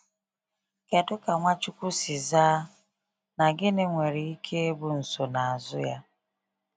Kedu ka Nwachukwu si zaa, na gịnị nwere ike ịbụ nsonaazụ ya?